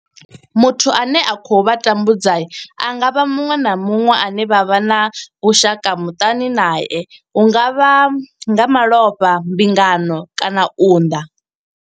Muthu ane a khou vha tambudza a nga vha muṅwe na muṅwe ane vha vha na vhushaka muṱani nae hu nga vha nga malofha mbingano kana u unḓa.